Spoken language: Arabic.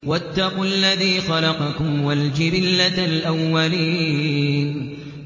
وَاتَّقُوا الَّذِي خَلَقَكُمْ وَالْجِبِلَّةَ الْأَوَّلِينَ